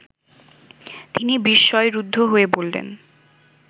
তিনি বিস্ময়-রুদ্ধ হয়ে বললেন